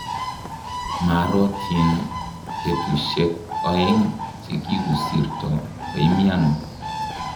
maarotin w petusheek ooeng chi kikusirto kuimiano